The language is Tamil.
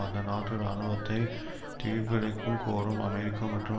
அந்த நாட்டு இராணுவத்தை திருப்பியழைக்கும் கோரும் அமெரிக்க மற்றும்